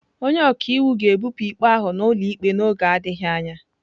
Onye ọka iwu ga-ebupụ ikpe ahụ n'ụlọ ikpe n'oge adịghị anya.